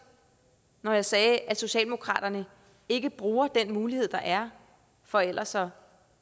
når jeg sagde at socialdemokraterne ikke bruger den mulighed der er for ellers at